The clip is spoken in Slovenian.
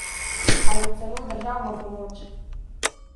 Ali celo državno pomoč?